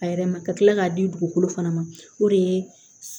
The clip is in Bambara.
A yɛrɛ ma ka kila k'a di dugukolo fana ma o de ye